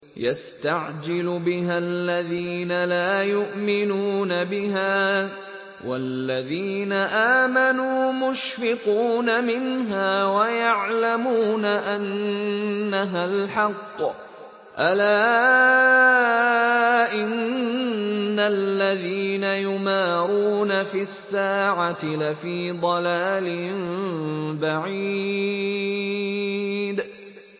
يَسْتَعْجِلُ بِهَا الَّذِينَ لَا يُؤْمِنُونَ بِهَا ۖ وَالَّذِينَ آمَنُوا مُشْفِقُونَ مِنْهَا وَيَعْلَمُونَ أَنَّهَا الْحَقُّ ۗ أَلَا إِنَّ الَّذِينَ يُمَارُونَ فِي السَّاعَةِ لَفِي ضَلَالٍ بَعِيدٍ